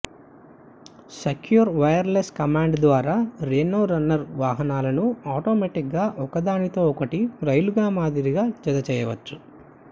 secure wireless command ద్వారా Reno runner వాహనాలను ఆటోమేటిక్గా ఒకదానితో ఒకటి రైలుగా మాదిరిగా జతచేయవచ్చు